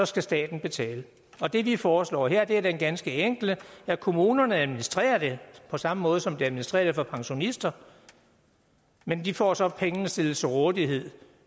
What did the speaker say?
skal staten betale det vi foreslår her er det ganske enkle at kommunerne administrerer det på samme måde som de administrerer det for pensionister men de får så pengene stillet til rådighed